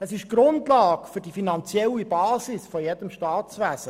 Sie sind die finanzielle Basis jedes Staatswesens;